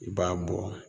I b'a bɔ